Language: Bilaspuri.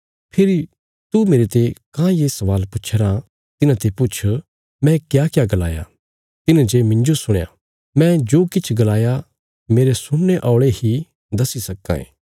फेरी तू मेरते काँह ये स्वाल पुच्छया राँ तिन्हांते पुछ मैं क्याक्या गलाया तिन्हें जे मिन्जो सुणया मैं जो किछ गलाया मेरे सुणने औल़े ही दस्सी सक्कां ये